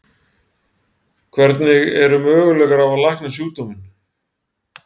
Hvernig eru möguleikar á að lækna sjúkdóminn?